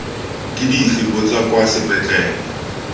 ke dife botsa kwa sepetlele